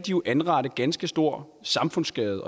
anrette ganske stor samfundsskade